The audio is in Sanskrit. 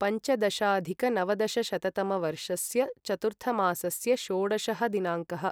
पञ्चदशाधिकनवदशशततमवर्षास्य चतुर्थमासस्य षोडशः दिनाङ्कः